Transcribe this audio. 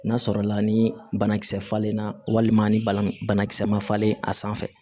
N'a sɔrɔ la ni banakisɛ falenna walima ni bala banakisɛ ma falen a sanfɛ